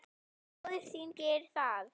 Móðir þín gerir það ekki.